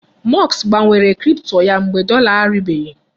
Musk gbanwere cripto ya mgbe dọla aribeghị.